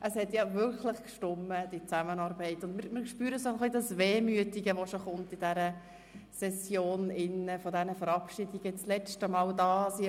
Die Zusammenarbeit hat wirklich gestimmt, und wir spüren auch ein wenig das Wehmütige, das sich in dieser Session mit den Verabschiedungen und den letztmaligen Handlungen zeigt.